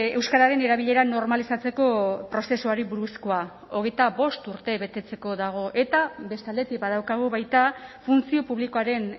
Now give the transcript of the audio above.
euskararen erabilera normalizatzeko prozesuari buruzkoa hogeita bost urte betetzeko dago eta beste aldetik badaukagu baita funtzio publikoaren